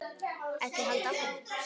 Ekki halda áfram.